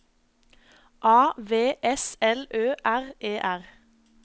A V S L Ø R E R